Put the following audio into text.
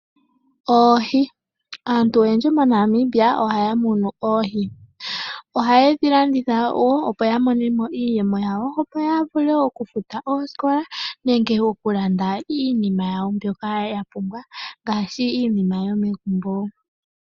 Oohi Aantu oyendji moNamibia ohaya munu oohi. Ohaye dhi landitha wo opo ya mone mo iiyemo yawo, opo ya vule okufuta oosikola nenge okulanda iinima yawo mbyoka ya pumbwa ngaashi iinima yawo yomegumbo.